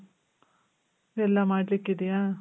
ಎಲ್ಲ ಮಾಡ್ಲಿಕ್ ಇದ್ಯ?